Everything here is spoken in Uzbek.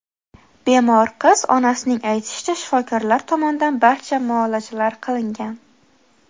Bemor qiz onasining aytishicha, shifokorlar tomonidan barcha muolajalar qilingan.